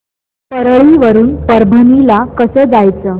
परळी वरून परभणी ला कसं जायचं